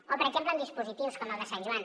o per exemple amb dispositius com el de sant joan